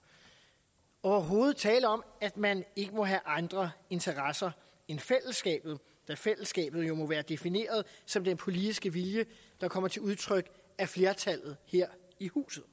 overhovedet tale om at man ikke må have andre interesser end fællesskabet da fællesskabet jo må være defineret som den politiske vilje der kommer til udtryk af flertallet her i huset